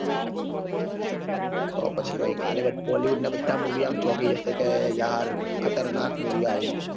પછી ભઈ કાલે બધા bollywood ના બધા movie આમ ચોકી જશે કે યાર ખતરનાખ તો movie આયુ.